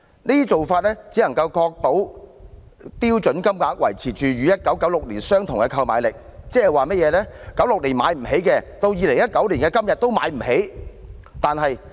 這種做法只能確保標準金額維持與1996年相同的購買力，即在1996年無法負擔的開支，到2019年的今天也無法負擔。